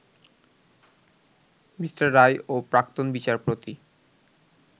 Me. Roy ও প্রাক্তন বিচারপতি